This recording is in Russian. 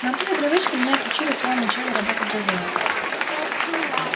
но от этой привычки меня отучили в самом начале работы в дозоре